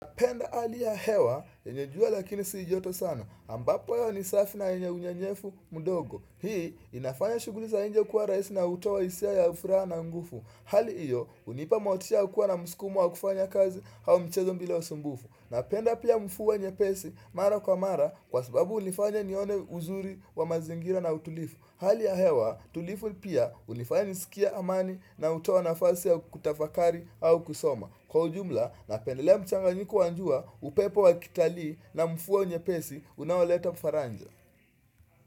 Napenda hali ya hewa, yenye jua lakini si joto sana. Ambapo hewa ni safi na yenye unyenyefu, mdogo. Hii, inafanya shuguli za nje kuwa rahisi na hutoa hisia ya furaa na ngufu. Hali iyo, unipa motisha ya kuwa na muskumo wa kufanya kazi au mchezo mbila ya usumbufu. Napenda pia mfuwa nyepesi, mara kwa mara, kwa sababu unifanya nione uzuri wa mazingira na utulifu. Hali ya hewa, tulifu pia unifanya nisikie amani na hutoa na fasi ya kutafakari au kusoma. Kwa ujumla napendelea mchanganyiko wa njua upepo wa kitalii na mfua nyepesi unaoleta mfaranja.